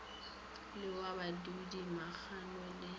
le wa mabudi magomo le